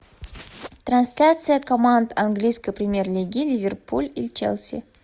трансляция команд английской премьер лиги ливерпуль и челси